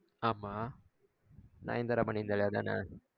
ஆமா நயன்தாரா பன்னிர்ந்தாலே அதான